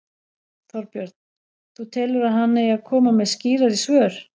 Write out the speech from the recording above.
Þorbjörn: Þú telur að hann eigi að koma með skýrari svör?